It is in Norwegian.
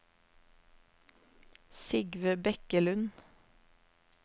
Sigve Bekkelund